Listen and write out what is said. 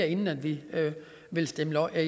inden vi vil stemme